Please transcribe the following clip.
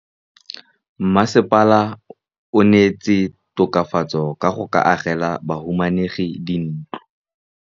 Mmasepala o neetse tokafatsô ka go agela bahumanegi dintlo.